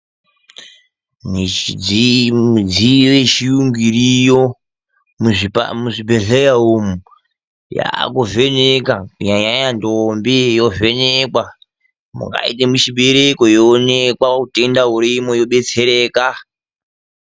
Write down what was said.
Midziyo yechiyungu iriyo muzvibhedhleya umu, yaakuvheneka kunyanya ndombi, yovhenekwa. Mungaite muchibereko yoonekwa utenda hurimwo yobetsereka.